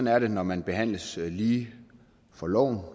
er det når man behandles lige for loven